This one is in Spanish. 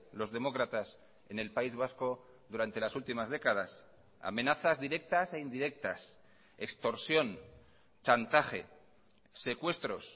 los demócratas en el país vasco durante las últimas décadas amenazas directas e indirectas extorsión chantaje secuestros